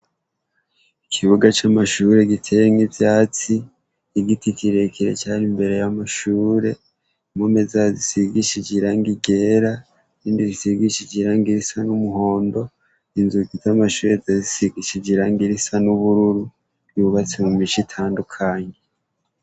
Ikibuga c'amashure giteyemwo ivyatsi, igiti kirekire cari imbere y'amashure, impome zayo zisigishije irangi ryera, irindi risigishije irangi risa n'umuhondo, inzugi z'amashure zari zisigishije irangi risa n'ubururu, yubatse mu mice itandukanye.